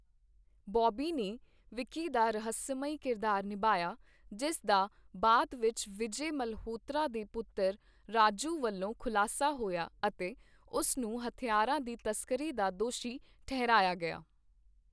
ਬੌਬੀ ਨੇ ਵਿੱਕੀ ਦਾ ਰਹੱਸਮਈ ਕਿਰਦਾਰ ਨਿਭਾਇਆ ਜਿਸ ਦਾ ਬਾਅਦ ਵਿੱਚ ਵਿਜੈ ਮਲਹੋਤਰਾ ਦੇ ਪੁੱਤਰ ਰਾਜੂ ਵੱਲੋਂ ਖੁਲਾਸਾ ਹੋਇਆ ਅਤੇ ਉਸ ਨੂੰ ਹਥਿਆਰਾਂ ਦੀ ਤਸਕਰੀ ਦਾ ਦੋਸ਼ੀ ਠਹਿਰਾਇਆ ਗਿਆ I